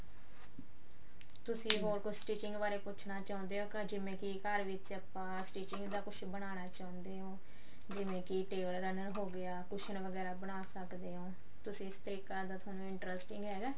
ਤੁਸੀਂ ਹਰ ਕੁੱਝ stitching ਬਾਰੇ ਪੁੱਛਨਾ ਚਾਹੁੰਦੇ ਆ ਜਿਵੇਂ ਘਰ ਵਿੱਚ ਆਪਾਂ stitching ਦਾ ਕੁੱਝ ਬਨਾਣਾ ਚਾਉਂਦੇ ਹਾਂ ਜਿਵੇਂ ਕਿ table runner ਹੋ ਗਿਆ ਕੂਸ਼ਨ ਵਗੈਰਾ ਬਣਾ ਸਕਦੇ ਓ ਤੁਸੀਂ ਇਸ ਤਰੀਕੇ ਨਾਲ ਤੁਹਾਨੂੰ interesting ਹੈਗਾ